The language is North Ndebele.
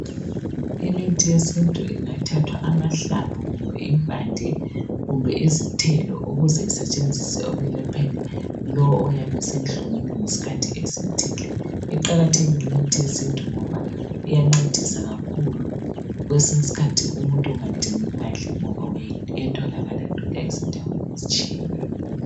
Imithi yesintu ingathathwa amahlamvu kumbe impande kumbe izithelo ukuze isetshenziswe ekwelapheni lo oyabe esenhlungwini esikhathini esithile. Iqakathekile imithi yesintu ngoba iyancedisa kakhulu kwesinye isikhathi umuntu ungadingi imali ngoba iyatholakala ezindaweni ezitshiyeneyo.